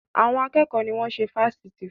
Àwọn akẹ́kọ̀ọ́ ni wọ́n ṣe fásitì fún.